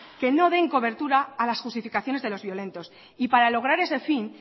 que no den cobertura a las justificaciones de los violentos y para lograr ese fin